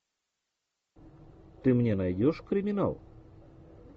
ты мне найдешь криминал